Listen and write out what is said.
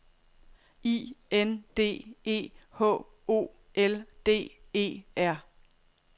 I N D E H O L D E R